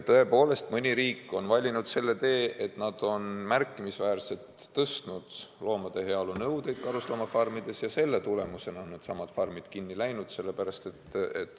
Tõepoolest, mõni riik on valinud selle tee, et nad on märkimisväärselt tõstnud loomade heaolu nõudeid karusloomafarmides ja selle tagajärjel on need farmid kinni pandud.